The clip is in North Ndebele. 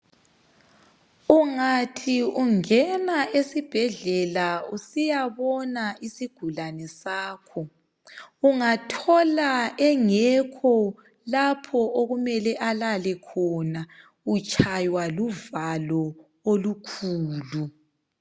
Ungathi ungena esibhedlela usiyabona isigulane sakho, ungathola engekho lapho okumele alale khona, utshaywa luvalo olukhulu .